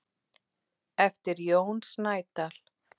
eftir Jón Snædal.